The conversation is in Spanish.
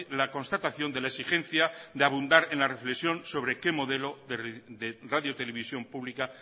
la constatación de la exigencia de abundar en la reflexión sobre qué modelo de radio televisión pública